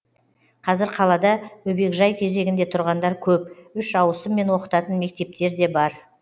қазір қалада бөбекжай кезегінде тұрғандар көп үш ауысыммен оқытатын мектептер де бар